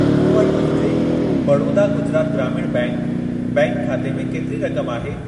मूं वटि मुंहिंजे बड़ोदा गुजरात ग्रामीण बैंक बैंक खाते में केतिरी रक़म आहे?